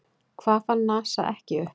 Hvað fann NASA ekki upp?